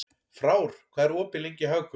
Frár, hvað er opið lengi í Hagkaup?